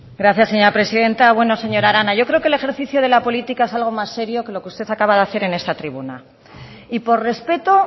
gracias señora presidenta bueno señora arana yo creo que el ejercicio de la política es algo más serio que lo que usted acaba de hacer en esta tribuna y por respeto